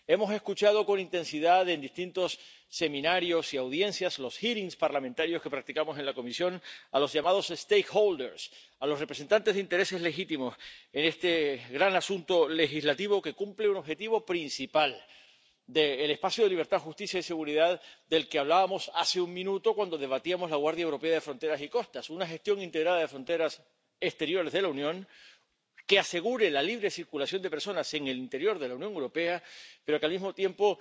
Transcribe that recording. Hemos escuchado con intensidad en distintos seminarios y audiencias —los hearings parlamentarios que practicamos en la comisión— a los llamados stakeholders —los representantes de intereses legítimos— en este gran asunto legislativo, que cumple un objetivo principal del espacio de libertad, justicia y seguridad del que hablábamos hace un minuto, cuando debatíamos sobre la Guardia Europea de Fronteras y Costas una gestión integrada de fronteras exteriores de la Unión que asegure la libre circulación de personas en el interior de la Unión Europea, pero que, al mismo tiempo,